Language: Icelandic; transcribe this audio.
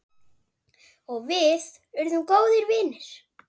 Og við urðum góðir vinir.